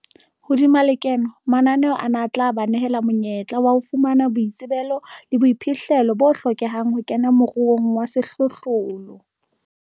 Hodima lekeno, mananeo ana a tla ba nehela monyetla wa ho fumana boitsebelo le boiphihlelo bo hlokehang ho kena moruong wa sehlohlolo.